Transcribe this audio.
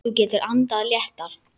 Þú getur andað léttar!